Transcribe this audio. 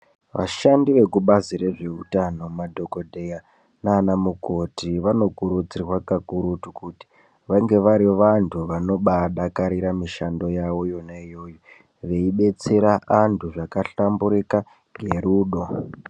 Vashandi vekubazi rezveutano madhokodheya nanamukoti vanokurudzirwa kakurutu kuti vange vari vantu vanobadakarire mishando yavo yonaiyoyo veibetsera vantu zvakahlamburika ngerudo.